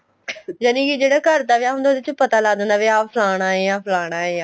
ਜਾਨੀ ਇਹ ਜਿਹੜਾ ਘਰ ਦਾ ਵਿਆਹ ਹੁੰਦਾ ਹੈ ਉਹਦੇ ਚ ਪਤਾ ਲੱਗ ਜਾਂਦਾ ਏ ਵੀ ਆ ਫਲਾਣਾ ਏ ਆ ਫਲਾਣਾ ਏ